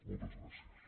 moltes gràcies